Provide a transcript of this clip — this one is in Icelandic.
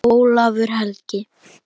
Ólafur Helgi.